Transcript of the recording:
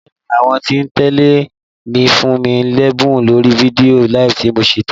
Bẹ́ẹ̀ni, àwọn tí ń tẹ́lẹ̀ mi fún mí lẹ́bùn lórí fídíò LIVE tí mo ṣe tán